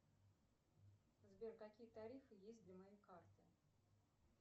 сбер какие тарифы есть для моей карты